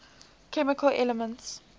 chemical elements